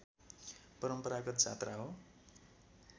परम्परागत जात्रा हो